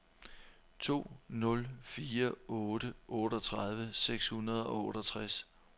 to nul fire otte otteogtredive seks hundrede og otteogtres